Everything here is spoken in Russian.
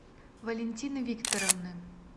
валентины викторовны